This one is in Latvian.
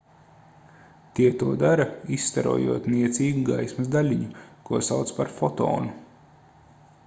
tie to dara izstarojot niecīgu gaismas daļiņu ko sauc par fotonu